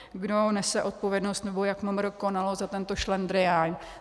Kdo nese odpovědnost, nebo jak MMR konalo za tento šlendrián.